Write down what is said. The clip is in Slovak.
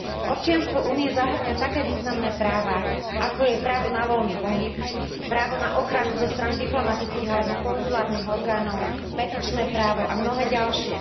Občianstvo Únie zahŕňa také významné práva, ako je právo na voľný pohyb, právo na ochranu zo strany diplomatických alebo konzulárnych orgánov, petičné právo a mnohé ďalšie.